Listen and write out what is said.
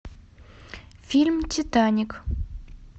фильм титаник